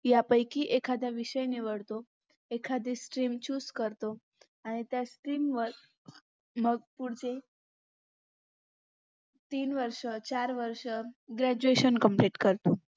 यापैकी एखादा विषय निवडतो एखादी stream choose करतो आणि त्या stream वर मग पुढचे तीन वर्ष चार वर्ष graduation complete करतो